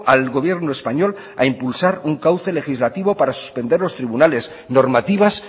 al gobierno español a impulsar un cauce legislativo para suspender los tribunales normativas